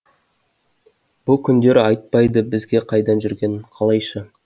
бұ күндері айтпайды бізге қайда жүргенін қалайша